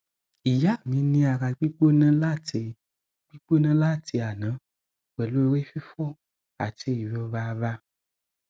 ìyá mi ní ara gbígbóná láti gbígbóná láti àná pẹlú orí fifo àti ìrora ara